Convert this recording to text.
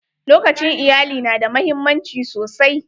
Lokacin iyalai na da muhimmanci sosai.